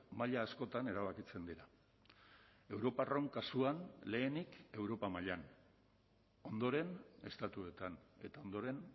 maila askotan erabakitzen dira europarron kasuan lehenik europa mailan ondoren estatuetan eta ondoren